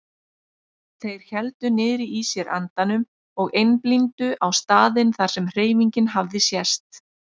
Þeir héldu niðri í sér andanum og einblíndu á staðinn þar sem hreyfingin hafði sést.